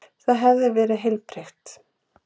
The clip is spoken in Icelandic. Það hefur verið heilbrigt?